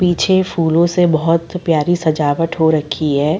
पीछे फूलों से बहुत प्यारी सजावट हो रखी है।